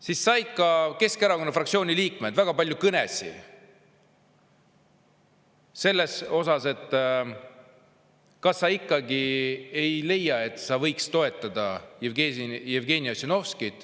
Samal ajal said ka paljud Keskerakonna fraktsiooni liikmed kõnesid, et "kas sa ikkagi ei leia, et sa võiks toetada Jevgeni Ossinovskit?